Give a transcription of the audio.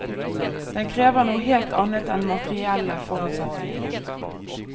Den krever noe helt annet enn materielle forutsetninger.